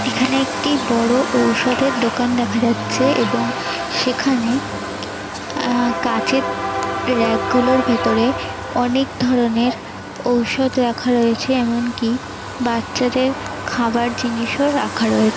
এখানে একটি বড় ঔষধের দোকান দেখা যাচ্ছে এবং সেখানে আহ কাঁচের র‍্যাক গুলোর ভেতরে অনেক ধরনের ঔষধ রাখা রয়েছে। এমনকি বাচ্চাদের খাবার জিনিসও রাখা রয়ে --